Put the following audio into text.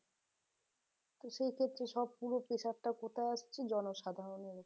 হ্যাঁ এক্ষেত্রে সব গুলো pressure টা কোথায় আসছে জনসাধরণের ওপর